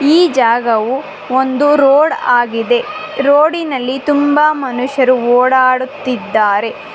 ಈ ಜಾಗವು ಒಂದು ರೋಡ್ ಆಗಿದೆ ರೋಡಿನಲ್ಲಿ ತುಂಬ ಮನುಷ್ಯರು ಓಡಾಡುತ್ತಿದ್ದಾರೆ.